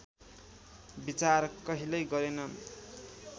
विचार कहिल्यै गरेनन्